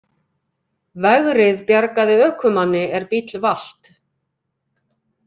Vegrið bjargaði ökumanni er bíll valt